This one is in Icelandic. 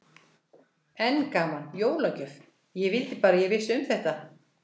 Enn gaman, jólagjöf, ég vildi bara að ég vissi um þetta.